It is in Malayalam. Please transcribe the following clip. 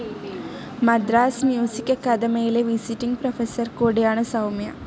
മദ്രാസ്‌ മ്യൂസിക്‌ അക്കാദമിയിലെ വിസിറ്റിങ്‌ പ്രൊഫസർ കൂടിയാണ് സൗമ്യ.